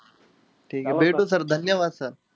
ठीके भेटू sir. धन्यवाद sir.